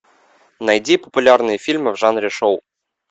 найди популярные фильмы в жанре шоу